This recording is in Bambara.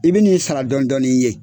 I bi nin sara dɔɔnin dɔɔnin ye